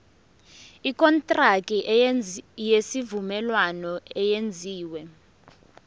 ikontraki yesivumelwano eyenziwe